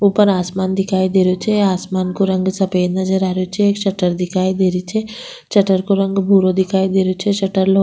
ऊपर आसमान दिखाई दे रो छे आसमान को रंग सफ़ेद नजर आ रेहो छे एक शटर दिखाई दे री छे शटर को रंग भूरो दिखाई देरो छे शटर लो --